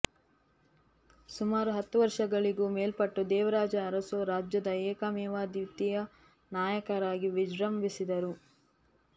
ಸುಮಾರು ಹತ್ತು ವರ್ಷಗಳಿಗೂ ಮೇಲ್ಪಟ್ಟು ದೇವರಾಜ ಅರಸು ರಾಜ್ಯದ ಏಕಮೇವಾದ್ವಿತೀಯ ನಾಯಕರಾಗಿ ವಿಜೃಂಭಿಸಿದರು